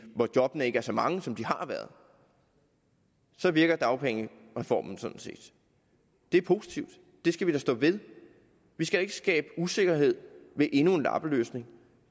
hvor jobbene ikke er så mange som de har været virker dagpengereformen sådan set det er positivt det skal vi da stå ved vi skal ikke skabe usikkerhed med endnu en lappeløsning